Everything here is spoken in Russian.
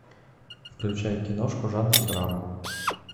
включай киношку жанр драма